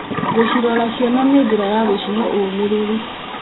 Gũcirora ciana nĩ njĩra ya gũcihe ũũmĩrĩru.